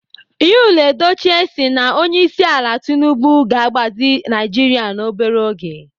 Yul Edochie si na Onyeisiala Tinubu ga-agbazi Naijiria n'obere oge.